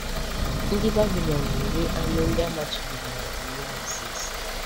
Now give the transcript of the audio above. Ndị Babilọn na-eri anụ ndị a machibidoro n’Iwu Mozis.